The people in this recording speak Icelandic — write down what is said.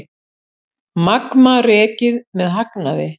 Magma rekið með hagnaði